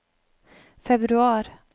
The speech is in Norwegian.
februar